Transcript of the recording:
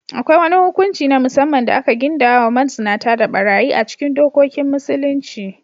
Akwai wani hukunci na musamman da aka gindaya wa mazinata da ɓarayi a cikin dokokin Musulunci.